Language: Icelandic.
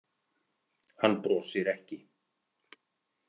Hann brosir ekki.